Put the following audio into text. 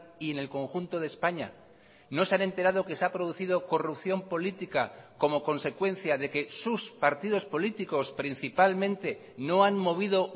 y en el conjunto de españa no se han enterado que se ha producido corrupción política como consecuencia de que sus partidos políticos principalmente no han movido